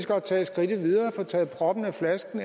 godt tage skridtet videre og få taget proppen af flasken